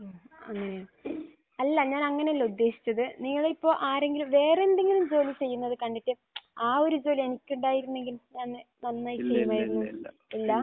മ്മ്. അങ്ങനെയാ. അല്ല. ഞാൻ അങ്ങനെയല്ല ഉദ്ദേശിച്ചത്. നിങ്ങൾ ഇപ്പോൾ ആരാരെങ്കിലും വേറെയെന്തെങ്കിലും ജോലി ചെയ്യുന്നത് കണ്ടിട്ട് ആ ഒരു ഇത് എനിക്ക് ഉണ്ടായിരുന്നെങ്കിൽ നന്നായി ചെയ്യുമായിരുന്നു എന്ന്. ഇല്ലാ?